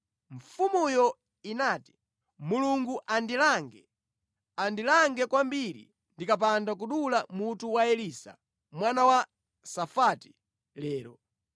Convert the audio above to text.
Mfumuyo inati, “Mulungu andilange, andilange kwambiri ndikapanda kudula mutu wa Elisa mwana wa Safati lero!”